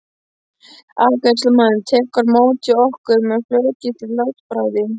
Afgreiðslumaðurinn tekur á móti okkur með flugafgreiðslu-látbragði.